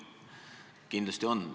Kindlasti on.